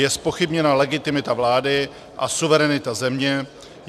Je zpochybněna legitimita vlády a suverenita země.